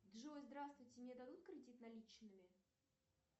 джой здравствуйте мне дадут кредит наличными